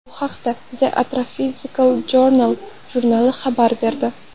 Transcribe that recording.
Bu haqda The Astrophysical Journal jurnali xabar berdi .